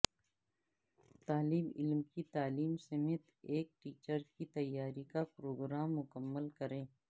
طالب علم کی تعلیم سمیت ایک ٹیچر کی تیاری کا پروگرام مکمل کریں